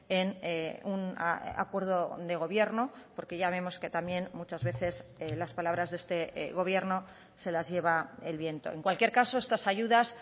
en un acuerdo de gobierno porque ya vemos que también muchas veces las palabras de este gobierno se las lleva el viento en cualquier caso estas ayudas